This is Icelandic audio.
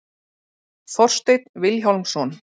Þorsteinn Vilhjálmsson.